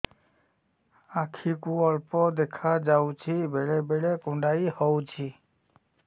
ଆଖି କୁ ଅଳ୍ପ ଦେଖା ଯାଉଛି ବେଳେ ବେଳେ କୁଣ୍ଡାଇ ହଉଛି